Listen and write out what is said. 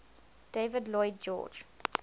david lloyd george